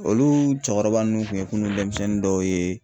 Olu cɔkɔrɔba ninnu kun ye kunun denmisɛnnin dɔw ye.